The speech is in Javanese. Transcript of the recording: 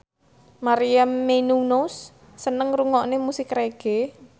Maria Menounos seneng ngrungokne musik reggae